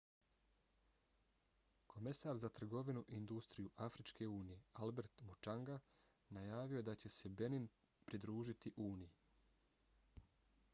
komesar za trgovinu i industriju afričke unije albert muchanga najavio je da će se benin pridružiti uniji